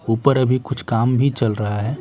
ऊपर अभी कुछ काम भी चल रहा है।